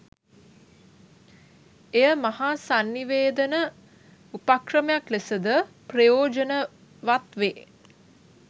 එය මහා සන්නිවේදන උපක්‍රමයක් ලෙසද ප්‍රයෝජනවත් වේ.